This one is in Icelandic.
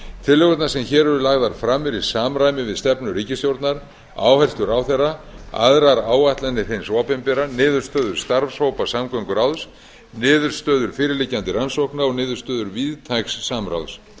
tillögurnar sem hér eru lagðar fram eru í samræmi við stefnu ríkisstjórnar áherslur ráðherra aðrar áætlanir hins opinbera niðurstöður starfshópa samgönguráðs niðurstöður fyrirliggjandi rannsókna og niðurstöður víðtæks samráðs